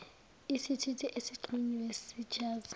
isithuthi esixhunyiwe sichaza